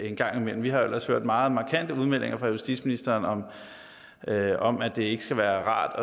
en gang imellem vi har jo ellers hørt meget markante udmeldinger fra justitsministeren om at om at det ikke skal være rart at